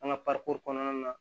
An ka kɔnɔna na